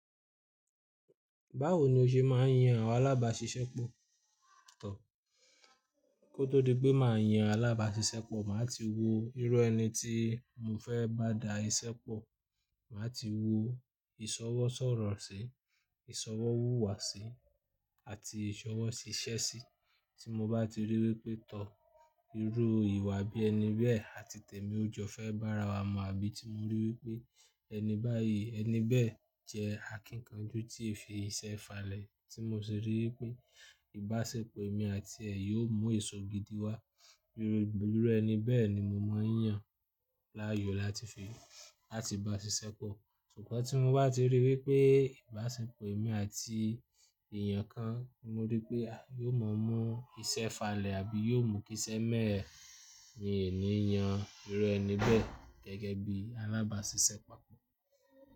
Báwo ni o ṣe máa ń yan àwọn alábàáṣiṣẹ́pọ̀? Tọ, kó tó di pé màá yan alábàáṣiṣẹ́pọ̀, màá ti wo irú ẹni tí mo fẹ́ bá dá iṣẹ́ pọ̀. Màá ti wo ìṣọwọ́ sọ̀rọ̀ sí i, ìṣọwọ́ wúwa sí i, àti ìṣọwọ́ ṣiṣẹ́ sí i. Tí mo bá ti rí wípé tọ́ irú ìwà bí ẹni bẹ́ẹ̀ àti tèmi o jọ fẹ́ bá ara wa mu, àbí tí mo rí wípé ẹni báyìí ẹni bẹ́ẹ̀ jẹ́ akíkanjú tí i fi iṣẹ́ falẹ̀, tí mo sì rí wípé ìbáṣepọ̀ èmi àti ẹ̀ yóò mú eṣò gidi wá, irú ẹni bẹ́ẹ̀ ni mo máa ń yàn láàyò láti fi bá ṣiṣẹ́ pọ̀. Sugbọn tí mo bá ti rí wípé ìbáṣepọ̀ èmi àti èèyàn kan, mo rí pé ah yóò mọ mú iṣẹ́ falẹ̀ àbí yóò mú kí iṣẹ́ mẹ́ẹ̀ẹ̀ mi o ní yàn irú ẹni bẹ́ẹ̀ gẹ́gẹ́ bí alábàáṣiṣẹ́pọ̀.